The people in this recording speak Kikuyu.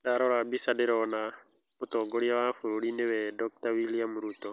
Ndarora mbica ndĩrona mũtongoria wa bũrũri nĩwe Dr.William Ruto